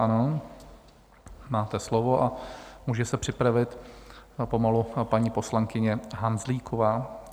Ano, máte slovo, a může se připravit pomalu paní poslankyně Hanzlíková.